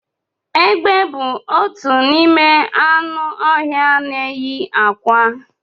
Egbe bu otu n'ime anụ ọhịa na enyi akwa